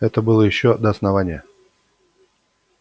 это было ещё до основания